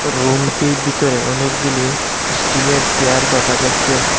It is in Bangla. রুমটির ভিতরে অনেকগুলি স্টিলের চেয়ার দেখা যাচ্ছে।